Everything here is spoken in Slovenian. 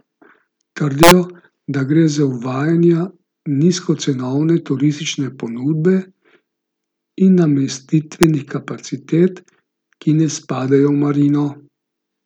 Trdijo, da gre za uvajanje nizkocenovne turistične ponudbe in namestitvenih kapacitet, ki ne spadajo v marino.